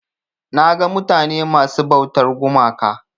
Naga mutane masu ɓautar gumaka.